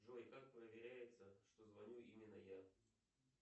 джой как проверяется что звоню именно я